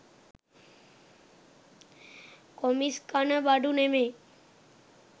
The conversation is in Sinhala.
කොමිස් කන බඩු නෙමෙයි